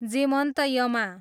जेमन्त यमा